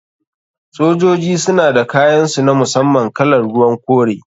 Sojoji suna da kayan su na musamman kalar ruwan kore.